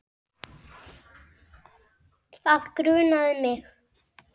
Það grunaði mig.